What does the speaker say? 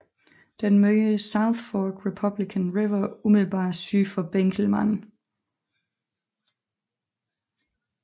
Den møder South Fork Republican River umiddelbart syd for Benkelman